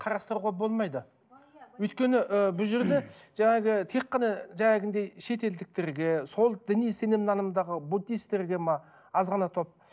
қарастыруға болмайды өйткені ііі бұл жерде жаңағы тек қана шетелдіктірге сол діни сенім анымдағы буддистерге ме аз ғана топ